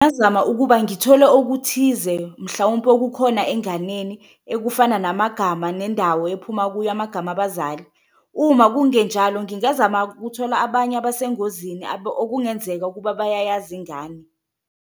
Ngingazama ukuba ngithole okuthize mhlawumpe okukhona enganeni ekufana namagama nendawo ephuma kuyo, amagama abazali uma kungenjalo ngingazama kuthola abanye abesengozini okungenzeka ukuba bayayazi ingane.